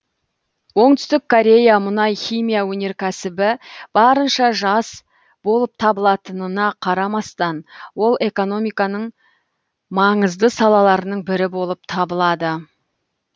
оңтүстік корея мұнай химия өнеркәсібі барынша жас болып табылатынына қарамастан ол экономиканың маңызды салаларының бірі болып табылады